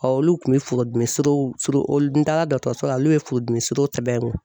olu kun bɛ furudimi olu n taara dɔtɔrɔso la olu ye furudimi sɛbɛn n kun.